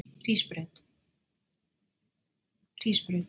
Hrísbraut